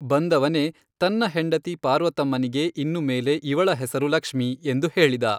ಬಂದವನೇ ತನ್ನ ಹೆಂಡತಿ ಪಾರ್ವತಮ್ಮನಿಗೆ ಇನ್ನು ಮೇಲೆ ಇವಳ ಹೆಸರು ಲಕ್ಷ್ಮಿ, ಎಂದು ಹೇಳಿದ.